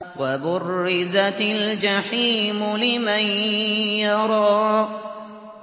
وَبُرِّزَتِ الْجَحِيمُ لِمَن يَرَىٰ